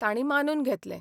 तांणी मानून घेतलें.